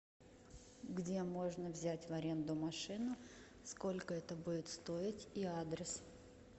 где можно взять в аренду машину сколько это будет стоить и адрес